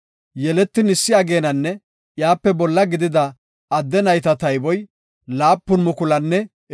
Yeletin issi ageenanne iyape bolla gidida adde nayta tayboy 7,500.